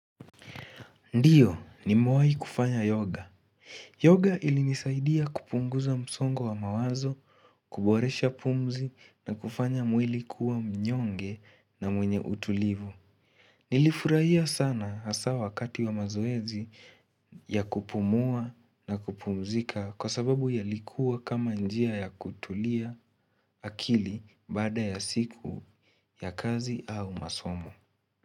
Ndiyo, nimewahi kufanya yoga. Yoga ilinisaidia kupunguza msongo wa mawazo, kuboresha pumzi na kufanya mwili kuwa mnyonge na mwenye utulivu. Nilifurahia sana hasa wakati wa mazoezi ya kupumua na kupumzika kwa sababu yalikuwa kama njia ya kutulia akili baada ya siku ya kazi au masomo.